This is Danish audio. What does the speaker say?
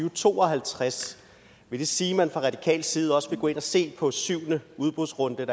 og to og halvtreds vil det sige at man fra radikal side også vil gå ind og se på den syvende udbudsrunde